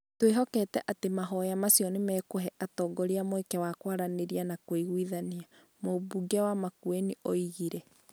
"Twĩhokete atĩ mahoya macio nĩ megũhe atongoria mweke wa kwaranĩria na kũiguithania", Mumbunge wa Makueni oigire.